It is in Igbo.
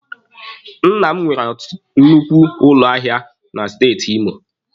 Nna m nwere nnukwu ụlọ ahịa na Steeti Imo